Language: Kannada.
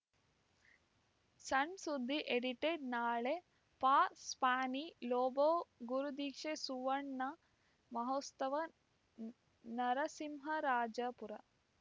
ಸಣ್‌ ಸುದ್ದಿ ಎಡಿಟೆಡ್‌ ನಾಳೆ ಫಾಸ್ಟ್ಯಾನಿ ಲೋಬೋ ಗುರುದೀಕ್ಷೆ ಸುವರ್ಣ ಮಹೋತ್ಸವ ನರಸಿಂಹರಾಜಪುರ